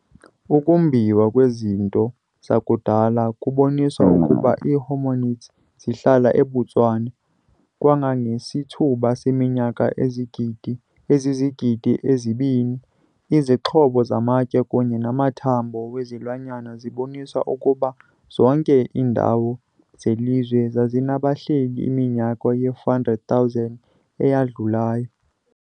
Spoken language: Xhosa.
Ukumbiwa kwezinto zakudala kubonise ukuba ii-hominids zihlala eBotswana kangangesithuba seminyaka ezizigidi ezibini. Izixhobo zamatye kunye namathanbo wezilwanyana zibonise ukuba zonke iindawo zelizwe zazinabahleli iminyaka ye-400,000 eyadlulayo.